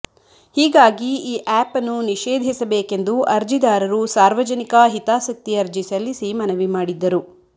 ಹೀಗಾಗಿ ಈ ಆ್ಯಪನ್ನು ನಿಷೇಧಿಸಬೇಕೆಂದು ಅರ್ಜಿದಾರರು ಸಾರ್ವಜನಿಕಾ ಹಿತಾಸಕ್ತಿ ಅರ್ಜಿ ಸಲ್ಲಿಸಿ ಮನವಿ ಮಾಡಿದ್ದರು